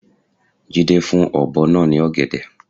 Jídé fún ọ̀bọ náa ní ògèdè